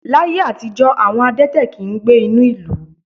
Láyé àtijó, àwọn adẹ́tẹ̀ kì ń gbé inú ìlú.